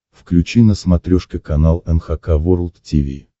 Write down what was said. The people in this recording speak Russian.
включи на смотрешке канал эн эйч кей волд ти ви